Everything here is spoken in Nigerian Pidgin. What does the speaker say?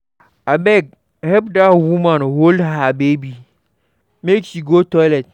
Abeg help dat woman hold her baby make she go toilet.